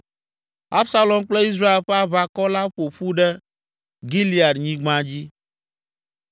Absalom kple Israel ƒe aʋakɔ la ƒo ƒu ɖe Gileadnyigba dzi.